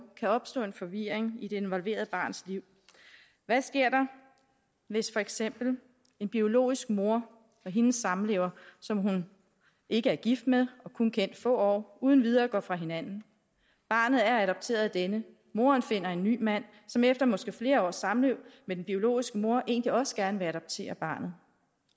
kan opstå en forvirring i det involverede barns liv hvad sker der hvis for eksempel en biologisk mor og hendes samlever som hun ikke er gift med og kun har kendt i få år uden videre går fra hinanden barnet er adopteret af denne moderen finder en ny mand som efter måske flere års samliv med den biologiske mor egentlig også gerne vil adoptere barnet